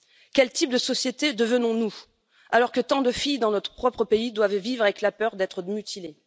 Quel type de société devenons nous, alors que tant de filles dans notre propre pays doivent vivre avec la peur d'être mutilées?